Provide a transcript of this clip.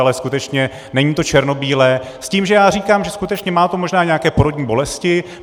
Ale skutečně není to černobílé s tím, že já říkám, že skutečně to možná má nějaké porodní bolesti.